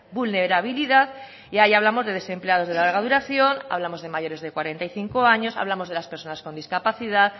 vulnerabilidad y ahí hablamos de desempleados de larga duración hablamos de mayores de cuarenta y cinco años hablamos de las personas con discapacidad